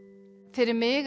fyrir mig